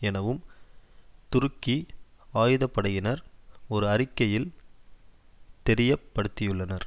எனவும் துருக்கி ஆயுதப்படையினர் ஒரு அறிக்கையில் தெரிய படுத்தியுள்ளனர்